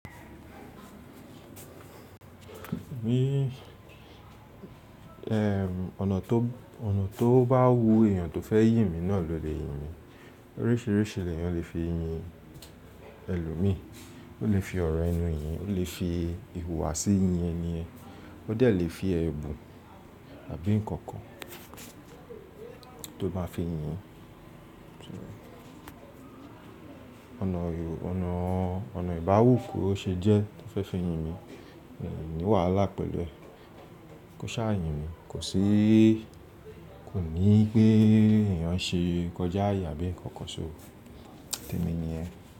Bí, eh, ọ̀nà tó, ọ̀nà tó bá wu èèyàn tó fẹ́ yìn mí náà lọ lè yìn mí. Oríṣìíríṣìí leeyan lè fi yìn elòmíì, ó lè fi ọ̀rọ̀ ẹnu yìn, ó lè fi ìhùwàsí yìn ẹni yẹ̀n, ó dẹ lè fi ẹ̀bùn àbí ǹkankan tó máa fi yìn. Ọ̀nà ìbáwu ko ṣe jẹ́ tó fẹ́ fi yìn mí, miii ni wàhálà pẹ̀lu ẹ́. Ko saá yìn mí, kò sí, kò ní pé èèyàn ṣe kọjá aye àbí ǹkankan sò. Temi niyẹ́n.